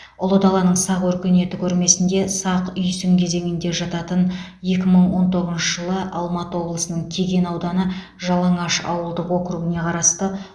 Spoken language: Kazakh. ұлы даланың сақ өркениеті көрмесінде сақ үйсін кезеңіне жататын екі мың он тоғызыншы жылы алматы облысының кеген ауданы жалаңаш ауылдық округіне қарасты